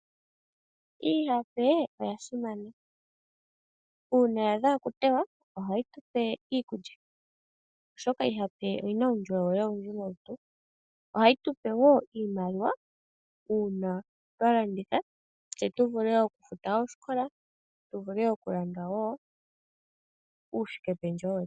Iihape oya simana, uuna ya adha oku tewa ohayi tupe iikulya oshoka iihape oyina uundjolowele owundji molutu, ohayi tupe woo iimaliwa uuna twa landitha tse tu vule oku futa oosikola, tu vule okulanda wo uushikependjewo wetu.